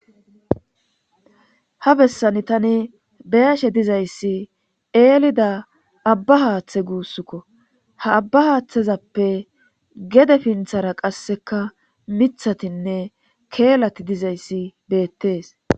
ha bessani tani beeshe dizayssi eelida abba haaththe guussukko ha abba haaththezappe gede pinthara qasseka mithatinne keelati dizayssi beettees